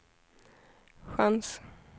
chans